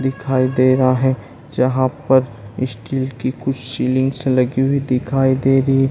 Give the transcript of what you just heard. दिखाई दे रहा है। जहां पर स्टील की कुछ सीलिंग्स लगी हुई दिखाई दे रही --